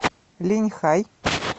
линьхай